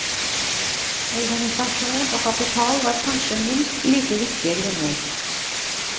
Organisasjon og kapital var kanskje minst like viktige grunner.